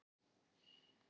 Laugarnestanga